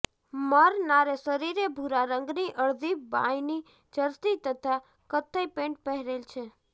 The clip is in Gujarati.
મરનારે શરીરે ભુરા રંગની અડધી બાંયની જર્સી તથા કથ્થઇ પેન્ટ પહેરેલ છે